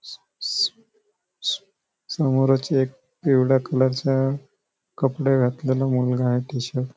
समोर च एक पिवळया कलर च कपडे घातलेला मुलगा आहे टी-शर्ट --